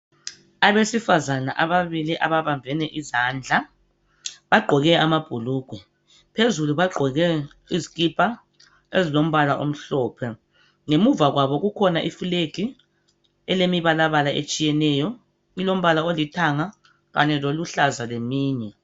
Abesifazana ababili ababambene izandla. Bagqoke amabhulugwe. Phezulu bagqoke izikipa ezilombala omhlophe. Ngemuva kwabo kukhona iflegi elemibalabala etshiyeneyo. Ilombala olithanga kanye loluhlaza leminye.